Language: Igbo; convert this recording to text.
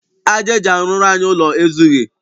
Aja eji arụrụ anyị ụlọ ezughị.